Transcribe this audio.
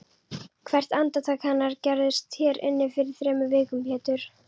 Hvert andartak hennar gerðist hér inni fyrir þremur vikum Pétur.